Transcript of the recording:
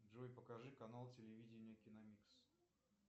джой покажи канал телевидения киномикс